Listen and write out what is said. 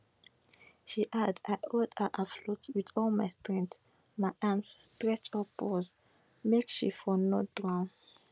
she add i hold her afloat wit all my strength my arms stretch upwards make she for no drown